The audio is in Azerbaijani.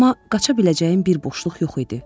Amma qaça biləcəyim bir boşluq yox idi.